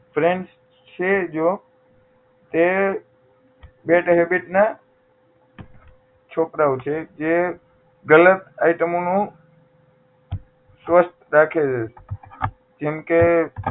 friends છે જો તે bad habit ના છોકરાઓ છે જે ગલત items નું રાખે છે જેમકે